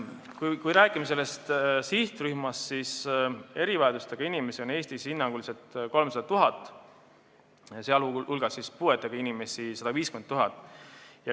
Kui me räägime sihtrühmast, siis erivajadustega inimesi on Eestis hinnanguliselt 300 000, sh puuetega inimesi 150 000.